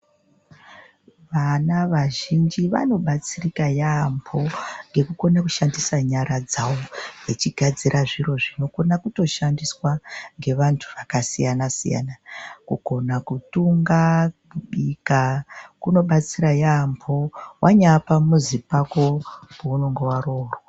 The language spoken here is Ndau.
Vana vazhinji vanobatsirika yambo ngekukona kushandisa nyara dzawo vachigadzira zviri zvinokona kushandiswa ngevantu vakasiyana siyana kukona kutunga mika kuno batsira yambo wanya pamuzi pako paunenge waongororwa.